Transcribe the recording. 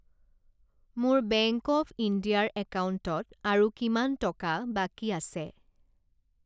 মোৰ bank of India ৰ একাউণ্টত আৰু কিমান টকা বাকী আছে?